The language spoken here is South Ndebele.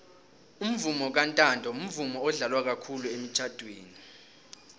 umvomo kantanto mvumo odlalwa khulu emitjhadweni